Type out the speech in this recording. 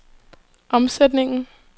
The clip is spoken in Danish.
omsætningen